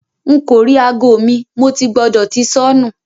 Nko ri aago mi; Mo ti gbọdọ ti sọnu